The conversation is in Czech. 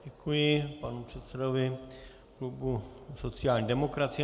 Děkuji panu předsedovi klubu sociální demokracie.